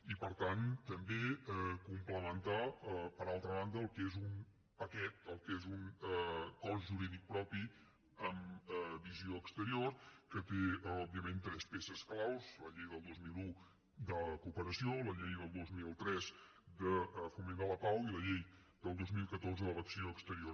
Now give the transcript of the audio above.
i per tant també complementar per altra banda el que és un paquet el que és un cos jurídic propi amb visió exterior que té òbviament tres peces clau la llei del dos mil un de cooperació la llei del dos mil tres de foment de la pau i la llei del dos mil catorze de l’acció exterior